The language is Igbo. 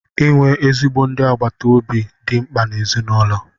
Inwe ezigbo ndị agbata obi dị mkpa n' ezinụlọ